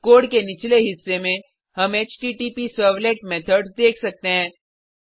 code के निचले हिस्से में हम हॉटप्सर्वलेट मेथड्स देख सकते हैं